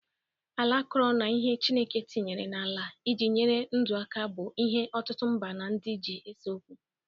Ala akọrọ na ihe chineke tinyere n'ala iji nyere ndụ aka bụ̣ ihe ọtụtụ mba na ndị ji ese okwu.